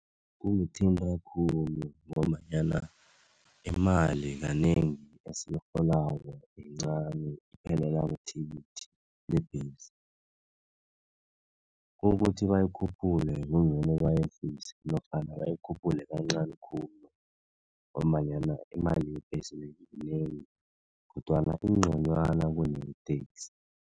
Kungithinta khulu ngombanyana imali kanengi esiyirholako yincani iphelela kuthikithi lebhesi, ukuthi bayikhuphule kungcono bayehlise nofana bayikhuphule kancani khulu, ngombananyana imali yebhesi yinengi kodwana ingconwana kuneye-taxi.